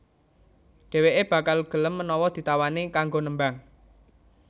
Dhèwèké bakal gelem menawa ditawani kanggo nembang